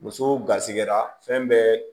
Muso garisigɛra fɛn bɛɛ